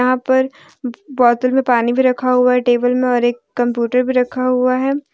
यहां पर बोतल में पानी भी रखा हुआ है टेबल में और एक कंप्यूटर भी रखा हुआ है।